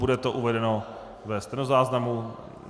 Bude to uvedeno ve stenozáznamu.